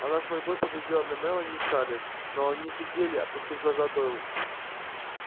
она с мольбой поглядела на мелани и скарлетт но они сидели опустив глаза дол